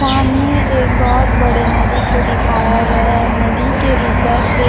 सामने एक बहोत बड़े नदी को दिखाया गया है। नदी के ऊपर एक--